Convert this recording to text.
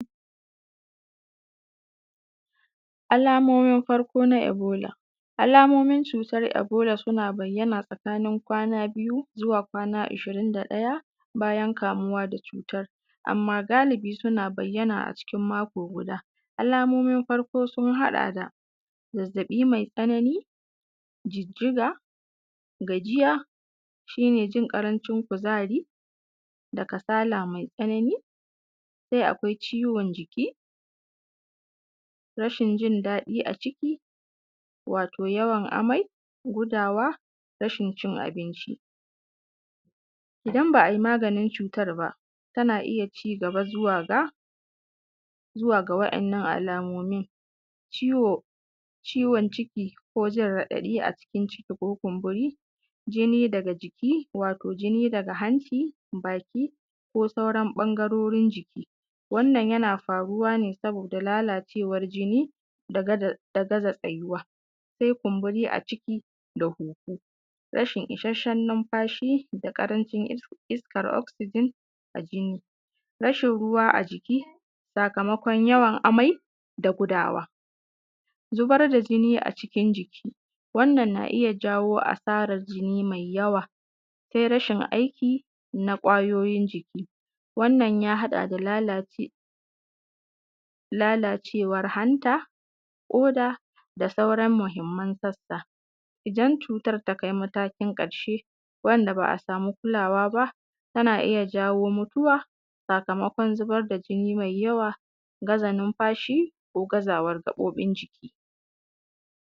Alamomin farko na ebola. Alamomin cutar ebola suna bayyana tsakanin kwana biyu zuwa kwana ishirin da ɗaya bayan kamuwa da cutar amma galibi suna bayyana a cikin mako guda. Alamomin farko sun haɗa da zazzaɓi mai tsanani, jijjiga, gajiya shine jin ƙarancin kuzari da kasala mai tsanani, sai akwai ciwon jiki, rashin jin daɗi a ciki wato yawo amai, gudawa, rashin cin abinci. Idan ba’ayi maganin cutar ba tana iya cigaba zuwa ga wa’ɗannan alamomin; ciwo ciwon ciki ko jin raɗaɗi a cikin ciki ko kumburi, jini daga jiki wato jini daga hanci, baki ko sauran ɓangarorin jiki. Wannan yana faruwa ne saboda lalacewar jini da gaza tsayuwa sai kumburi a ciki da huhu, rashin isashen lumfashi da ƙarancin iskar oxygen a jini, rashin ruwa a jiki sakamakon yawan amai da gudawa. Zubar da jini a cikin jiki, wannan na iya jawo asarar jini mai yawa sai rashin aiki na ƙwayoyin jiki, wannan ya haɗa da lalacewar hanta, ƙoda da sauran mahimman sassa. Idan cutar ta kai matakin ƙarshe wanda ba’a samu kulawa ba tana iya jawo mutuwa sakamakon zubar da jini mai yawa, gaza lumfashi ko gazawar gaɓoɓin jiki.